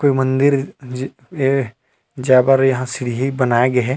कोई मंदिर जी ए जाय बर यहाँ सीढ़ी ल बनाए गे हे।